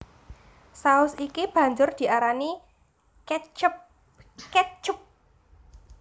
Saus iki banjur diarani catchup ketchup